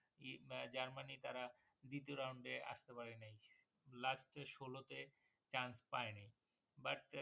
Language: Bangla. ই জার্মানি তারা দ্বিতীয় রাউন্ডে আসতে পারে নাই last এ ষোলো তে chance পায়ে নাই but